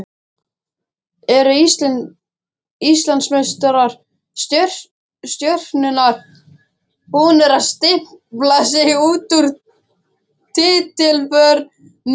Eru Íslandsmeistarar Stjörnunnar búnir að stimpla sig út úr titilvörninni?